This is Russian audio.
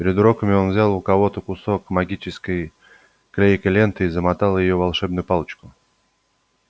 перед уроками он взял у кого-то кусок магической клейкой ленты и замотал ею волшебную палочку